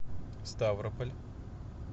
ставрополь